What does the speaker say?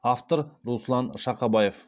автор руслан шақабаев